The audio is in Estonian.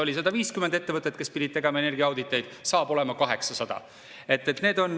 Oli 150 ettevõtet, kes pidid tegema energiaauditeid, saab olema 800.